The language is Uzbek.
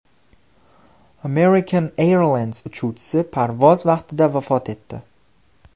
American Airlines uchuvchisi parvoz vaqtida vafot etdi.